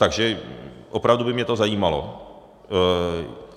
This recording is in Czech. Takže opravdu by mě to zajímalo.